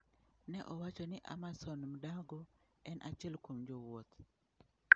Ne owacho ni Amason Mndago en achiel kuom jowuoth.